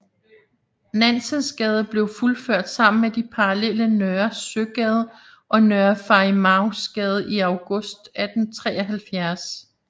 Nansensgade blev fuldført sammen med de parallelle Nørre Søgade og Nørre Farimagsgade i august 1873